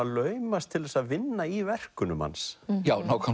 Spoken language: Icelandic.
laumast til að vinna í verkunum hans